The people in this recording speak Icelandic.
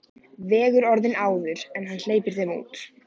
Vegur orðin áður en hann hleypir þeim út.